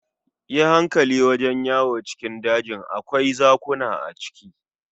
Yi hankali wajen yawo cikin dajin, akwai zakuna a ciki.